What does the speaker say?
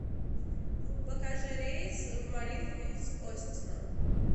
покажи рейс в марингу из остина